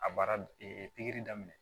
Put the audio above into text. A baara pikiri daminɛ